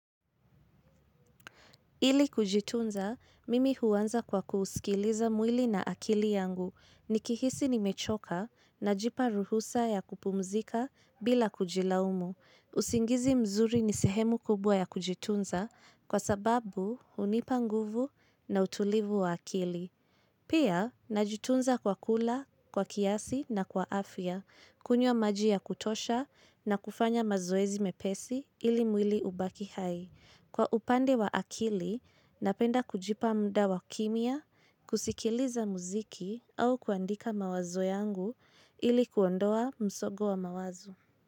Ili kujitunza, mimi huanza kwa kuusikiliza mwili na akili yangu ni kihisi nimechoka najipa ruhusa ya kupumzika bila kujilaumu. Usingizi mzuri ni sehemu kubwa ya kujitunza kwa sababu hunipa nguvu na utulivu wa akili. Pia, najitunza kwa kula, kwa kiasi na kwa afya, kunywa maji ya kutosha na kufanya mazoezi mepesi ili mwili ubaki hai. Kwa upande wa akili, napenda kujipa mda wa kimya, kusikiliza muziki au kuandika mawazo yangu ili kuondoa msongo wa mawazo.